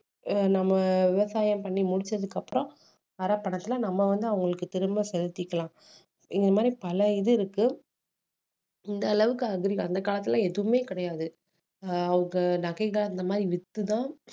நம்ம விவசாயம் பண்ணி முடிச்சதுக்கு அப்புறம் வர்ற பணத்துல நம்ம வந்து அவங்களுக்கு திரும்ப செலுத்திக்கலாம் இந்த மாதிரி பல இது இருக்கு இந்த அளவுக்கு அந்த காலத்துல எதுவுமே கிடையாது ஆஹ் அவங்க நகைகள் அந்த மாதிரி வித்துதான்